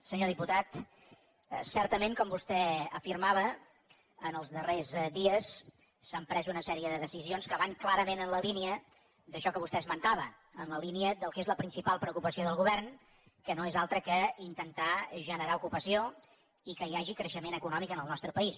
senyor diputat certament com vostè afirmava els darrers dies s’han pres una sèrie de decisions que van clarament en la línia d’això que vostè esmentava en la línia del que és la principal preocupació del govern que no és altra que intentar generar ocupació i que hi hagi creixement econòmic en el nostre país